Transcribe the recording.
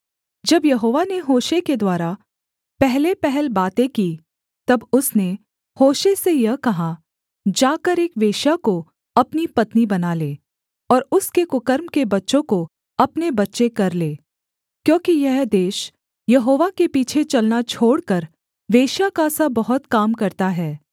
जब यहोवा ने होशे के द्वारा पहलेपहल बातें की तब उसने होशे से यह कहा जाकर एक वेश्या को अपनी पत्नी बना ले और उसके कुकर्म के बच्चों को अपने बच्चे कर ले क्योंकि यह देश यहोवा के पीछे चलना छोड़कर वेश्या का सा बहुत काम करता है